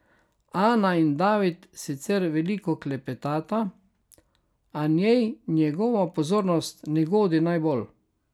Ana in David sicer veliko klepetata, a njej njegova pozornost ne godi najbolj.